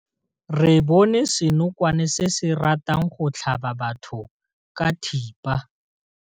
Re bone senokwane se se ratang go tlhaba batho ka thipa.